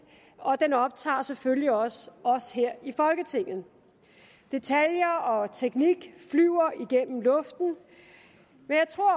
og den optager selvfølgelig også os her i folketinget detaljer og teknik flyver igennem luften men jeg tror